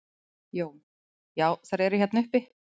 Jón: Já þær eru hérna uppi?